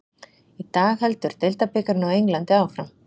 Í dag heldur deildabikarinn á Englandi áfram.